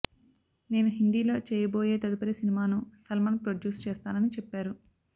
నేను హిందీలో చేయబోయే తదుపరి సినిమాను సల్మాన్ ప్రొడ్యూస్ చేస్తానని చెప్పారు